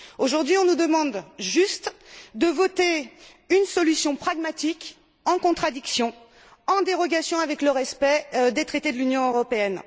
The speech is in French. Aujourd'hui, on nous demande juste de voter une solution pragmatique en contradiction, en dérogation avec le respect des traités de l'Union européenne.